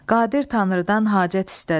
Qadir Tanrıdan hacət istədi.